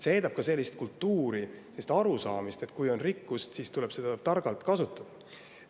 See eeldab ka sellist kultuuri, sellist arusaamist, et kui on rikkust, siis tuleb seda targalt kasutada.